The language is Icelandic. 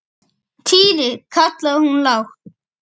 Týri! kallaði hún lágt.